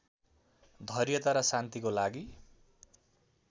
धैर्यता र शान्तिको लागि